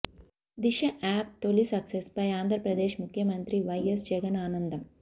దిశ app తొలి సక్సెస్పై ఆంధ్రప్రదేశ్ ముఖ్యమంత్రి YS Jagan ఆనందం